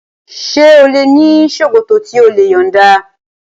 Ṣé ò ní ṣòkòtò tí o lè yọ̀nda?